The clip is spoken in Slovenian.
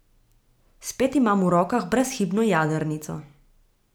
Spet imam v rokah brezhibno jadrnico.